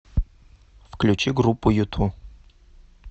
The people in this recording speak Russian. включи группу юту